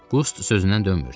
Qust sözündən dönmürdü.